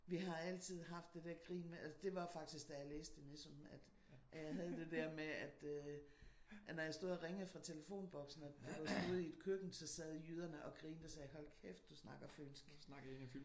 Vi har altid haft det der grin med det var faktisk da jeg læste i Nissum at jeg havde det der med at øh at når jeg stod og ringede fra telefonboksen og det var ude i et køkken så sad jyderne og sagde hold kæft du snakker fynsk